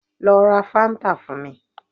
Lọ ra fáńtà fún mi